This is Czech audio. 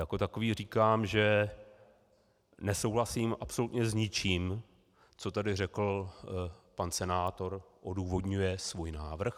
Jako takový říkám, že nesouhlasím absolutně s ničím, co tady řekl pan senátor, odůvodňuje svůj návrh.